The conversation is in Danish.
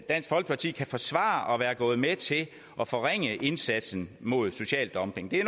dansk folkeparti kan forsvare at være gået med til at forringe indsatsen mod social dumping det er